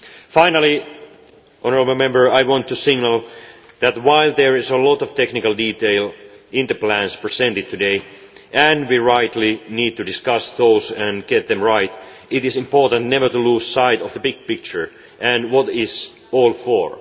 matter. Finally, I want to signal that, while there are a lot of technical details in the plans presented today and we rightly need to discuss those and get them right it is important never to lose sight of the big picture and of what it is all